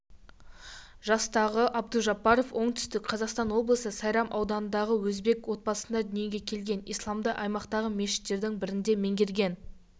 жастағы абдужаббаров оңтүстік қазақстан облысы сайрам ауданында өзбек отбасында дүниеге келген исламды аймақтағы мешіттердің бірінде меңгерген